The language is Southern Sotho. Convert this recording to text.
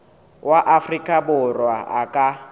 wa afrika borwa a ka